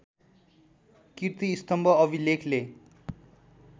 किर्ती स्तम्भ अभिलेखले